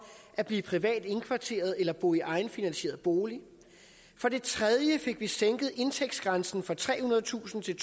at blive privat indkvarteret eller bo i egenfinansieret bolig for det tredje fik vi sænket indtægtsgrænsen fra trehundredetusind til